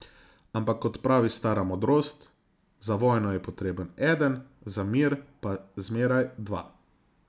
Ampak, kot pravi stara modrost, za vojno je potreben eden, za mir pa zmeraj dva.